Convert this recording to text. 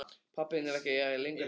Pabbi þinn er ekki lengur hér.